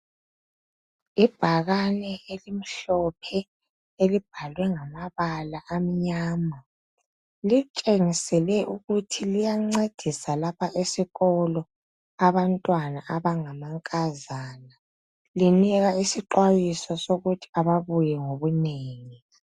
Ibhakane elimhlophe elibhalwe ngamabala amnyama litshengisele ukuthi liyancedisa lapha esikolo abantwana abangamankazana linika isixwayiso sokuthi ababuye ngobunengi.